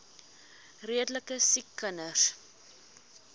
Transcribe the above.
redelike siek kinders